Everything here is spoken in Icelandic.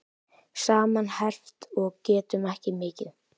Saman herpt og getum ekki mikið.